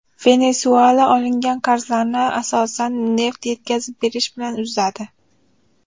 Venesuela olingan qarzlarni asosan neft yetkazib berish bilan uzadi.